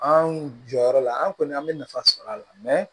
An jɔyɔrɔ la an kɔni an bɛ nafa sɔrɔ a la